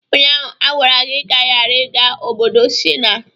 Ụnyaahụ a gwara gị ka ị ghara ịga obodo Shina!